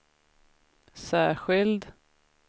särskild